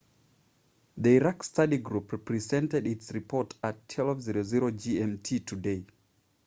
the iraq study group presented its report at 12.00 gmt today